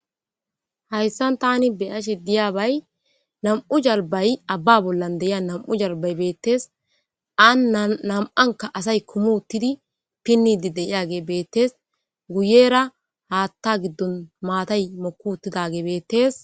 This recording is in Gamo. hayssan tani beyashe diyaabay nam7u jalbay abba bollan deyia nam7u jalbay beettees an nam7anka asay kumuttidi pinnidi deyage beettees guyera haatta giddon maatay mokuuttidage beettees